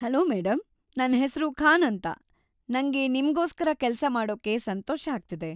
Hello madam, ನನ್ ಹೆಸ್ರು ಖಾನ್‌ ಅಂತ. ನಂಗೆ ನಿಮ್ಗೋಸ್ಕರ ಕೆಲ್ಸ ಮಾಡೋಕೆ ಸಂತೋಷ ಆಗ್ತಿದೆ.